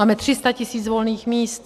Máme 300 tis. volných míst.